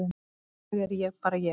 í dag er ég bara ég.